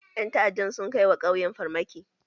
Ƴan ta'adda sun kai wa ƙauyen farmaki.